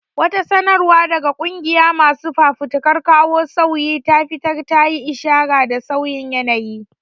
Wata sanarwa da wata ƙungiyar masu fafutukar kawo sauyi ta fitar ta yi ishara da sauyin yanayi.